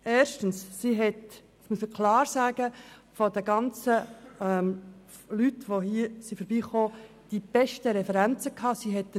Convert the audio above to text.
Ich muss klar sagen, dass sie, von all den Leuten, die sich vorgestellt haben, die besten Referenzen gehabt hat.